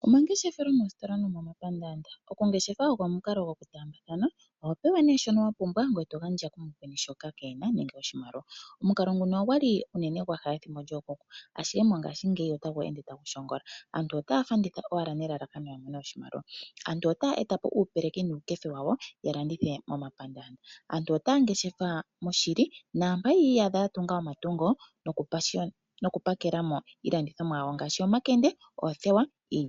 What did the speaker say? Omangeshefelo moositola nomomapaandaanda. Okungeshefa oko omukalo gokutaambatha, oho pewa shoka wa pumbwa ngoye to gandja kumukweni shoka ke e na nenge oshimaliwa. Omukalo nguno ogwa li unene gwa ha pethimbo lyookuku, ihe mongashingeyi otagu ende tagu shongola. Aantu otaya landitha owala nelalakano ya mone oshimaliwa. Aantu otaye eta po uupeleki nuukefe wawo ya landithe momapandaandaa. Aantu otaya landitha moshili naampoka yi iyadha ya tunga omatungo nokupakela mo iilandithomwa yawo ngaashi omakende noothewa.